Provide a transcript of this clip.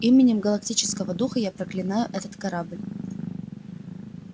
именем галактического духа я проклинаю этот корабль